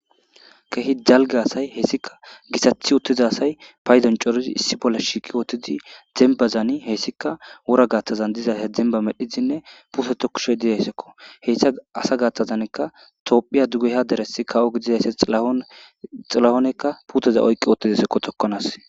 Kehi dalge asay hessika gisathi uttiza asay paydan corizi issi bolle shiiqi wootidi zembazani heessika wora gaaththazan diza hedzenba medhizinne puute tokushe diyayssakko heyssa asa gaathtazankka tophiya dugeha deresi kawo gididaysse xilahoonekka puteza oyqi oottidisekko tokkonas.